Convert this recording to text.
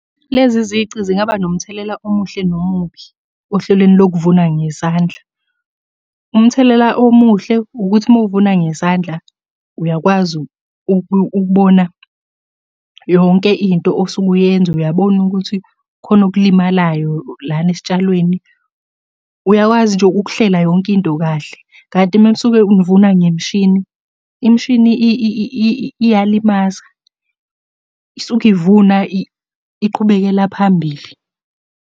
Lezi zici zingaba nomthelela omuhle nomubi ohlelweni lokuvuna ngezandla. Umthelela omuhle ukuthi uma uvuna ngezandla uyakwazi ukubona yonke into osuke uyenza, uyabona ukuthi khona okulimalayo lana esitshalweni. Uyakwazi nje ukuhlela yonke into kahle, kanti uma kusuke uvuna ngemishini, imishini iyalimaza. Isuke ivuna iqhubekela phambili.